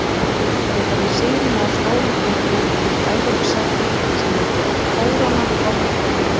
Valsmenn geta með sigri náð stórum titli og tryggt Evrópusæti sem myndi kóróna gott tímabil.